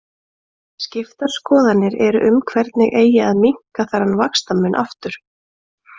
Skiptar skoðanir eru um hvernig eigi að minnka þennan vaxtamun aftur.